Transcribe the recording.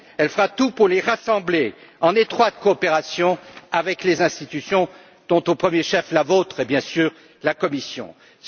Elle fera tout pour les rassembler en étroite coopération avec les institutions dont, au premier chef, la Commission bien sûr.